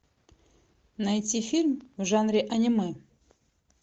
найти фильм в жанре аниме